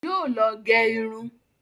Yóò lọ gẹ irun.